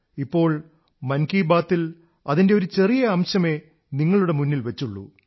ഇപ്പോൾ മൻ കീ ബാതിൽ അതിന്റെ ഒരു ചെറിയ അംശമേ നിങ്ങളുടെ മുന്നിൽ വച്ചൂള്ളൂ